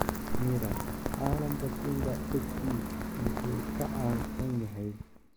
(Mirror) Calanka Simba SC muxuu ka kacsan yahay?